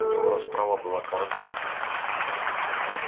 у него расправа была коротка